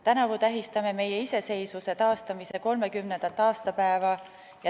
Tänavu tähistame meie iseseisvuse taastamise 30. aastapäeva.